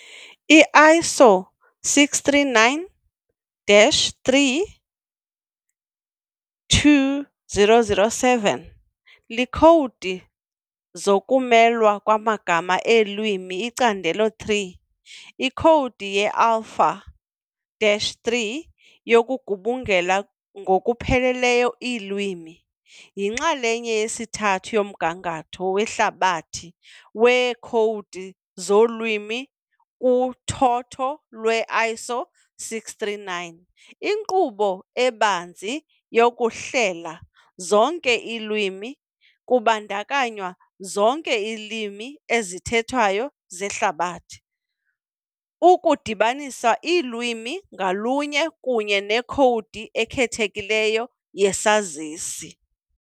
I-ISO 639-3- 2007, Iikhowudi zokumelwa kwamagama eelwimi-Icandelo 3- Ikhowudi ye-Alpha-3 yokugubungela ngokupheleleyo iilwimi, yinxalenye yesithathu yomgangatho "wehlabathi" weekhowudi zolwimi kuthotho lwe-ISO 639, inkqubo ebanzi yokuhlela. zonke iilwimi, kubandakanywa zonke iilwimi ezithethwayo zehlabathi, ukudibanisa ulwimi ngalunye kunye nekhowudi ekhethekileyo yesazisi.